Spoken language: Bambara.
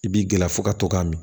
I b'i gɛri fɔ ka to ka mi